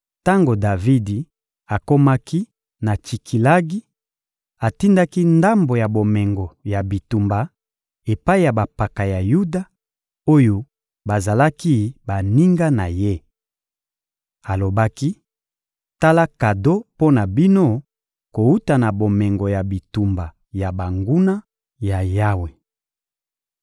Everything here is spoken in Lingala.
Tango Davidi akomaki na Tsikilagi, atindaki ndambo ya bomengo ya bitumba epai ya bampaka ya Yuda, oyo bazalaki baninga na ye. Alobaki: «Tala kado mpo na bino kowuta na bomengo ya bitumba ya banguna ya Yawe.»